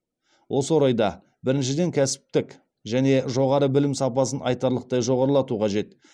осы орайда біріншіден кәсіптік және жоғары білім сапасын айтарлықтай жоғарылату қажет